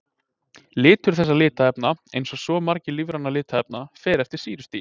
Litur þessa litarefna, eins og svo margra lífrænna litarefna, fer eftir sýrustigi.